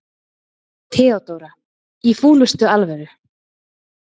THEODÓRA: Í fúlustu alvöru.